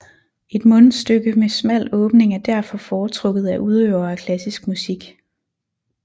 Et mundstyke med smal åbning er derfor foretrukket af udøvere af klassisk musik